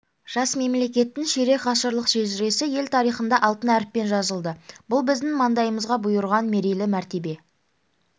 жас мемлекеттің ширек ғасырлық шежіресі ел тарихында алтын әріппен жазылды бұл біздің маңдайымызға бұйырған мерейлі мәртебе